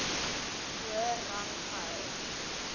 hoër rang gehou